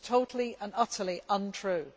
This is totally and utterly untrue.